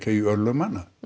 í örlög manna